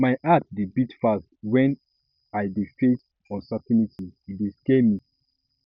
my heart dey beat fast wen i dey face uncertainty e dey scare me